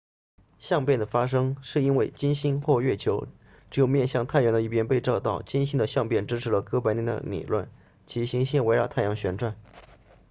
相变的发生是因为金星或月球只有面向太阳的一边被照到金星的相变支持了哥白尼的理论即行星围绕太阳旋转